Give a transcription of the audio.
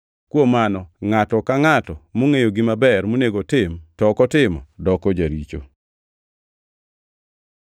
Kuom mano, ngʼato ka ngʼata mongʼeyo gima ber monego otim, to ok otimo, doko jaricho.